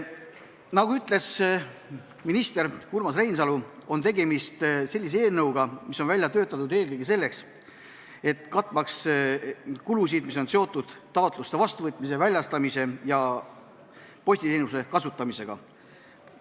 Nagu ütles minister Urmas Reinsalu, on tegemist sellise eelnõuga, mis on välja töötatud eelkõige selleks, et katta kulusid, mis on seotud taotluste vastuvõtmise ja väljastamisega ning postiteenuse kasutamisega.